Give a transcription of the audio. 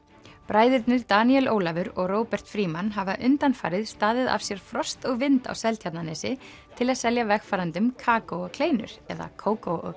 bræðurnir Daníel Ólafur og Róbert Frímann hafa undanfarið staðið af sér frost og vind á Seltjarnarnesi til að selja vegfarendum kakó og kleinur eða Cócó og